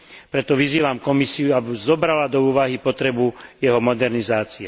Preto vyzývam Komisiu, aby zobrala do úvahy potrebu jeho modernizácie.